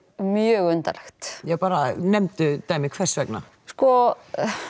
mjög undarlegt já bara nefndu dæmi hversvegna sko